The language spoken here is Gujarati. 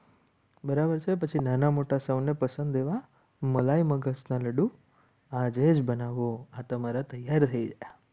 બરાબર છે. પછી નાના મોટા સૌને પસંદ લેવા મલાઈ મગજના લાડુ આજે જ બનાવો આ તમારા તૈયાર થઈ ગયા.